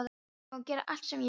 Ég má gera allt sem ég vil.